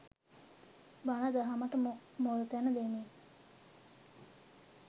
බණ දහමට මුල්තැන දෙමින්